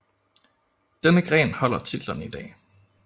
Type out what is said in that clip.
Denne gren holder titlen i dag